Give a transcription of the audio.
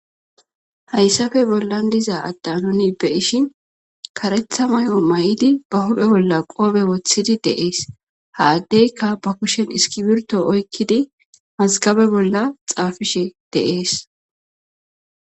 Hayssappe bollan diza adda nu beyishin kareththa mayomayiddii ba huphphe bolla qoope woththidii de'es ha addeykka ba kushen iskirbitto oykiddi mazgabbe bolla xapishe de'es.